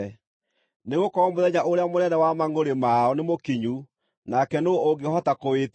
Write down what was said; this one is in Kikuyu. Nĩgũkorwo mũthenya ũrĩa mũnene wa mangʼũrĩ mao nĩmũkinyu, nake nũũ ũngĩhota kũwĩtiiria?”